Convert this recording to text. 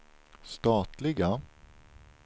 statliga